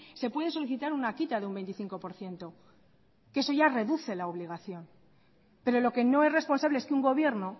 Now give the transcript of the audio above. se puede solicitar una quita de un veinticinco por ciento que eso ya reduce la obligación pero lo que no es responsable es que un gobierno